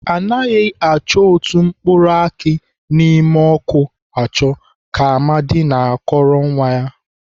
Anaghị achọ otu mkpụrụ akị nọ n'ime ọkụ achọ ka Amadi na-akọwara nwa ya.